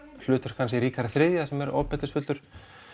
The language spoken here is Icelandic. hlutverk hans í Ríkharði þrjú þar sem hann er ofbeldisfullur